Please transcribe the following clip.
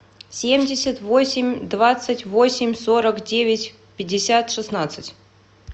семьдесят восемь двадцать восемь сорок девять пятьдесят шестнадцать